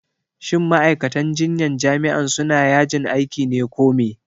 shin ma'aikatan jinyan jami'an suna yajin aiki ne ko me?